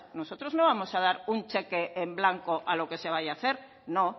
nosotros no vamos a dar un cheque en blanco a lo que se vaya hacer no